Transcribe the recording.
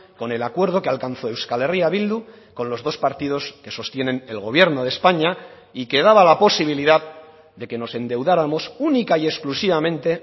con el acuerdo que alcanzó euskal herria bildu con los dos partidos que sostienen el gobierno de españa y que daba la posibilidad de que nos endeudáramos única y exclusivamente